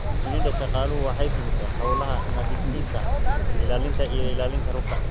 Shinnida shaqaaluhu waxay fulisaa hawlaha nadiifinta, ilaalinta iyo ilaalinta rugta.